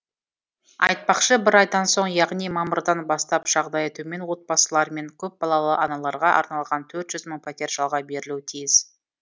айтпақшы бір айдан соң яғни мамырдан бастап жағдайы төмен отбасылар мен көпбалалы аналарға арналған төрт жүз мың пәтер жалға берілуі тиіс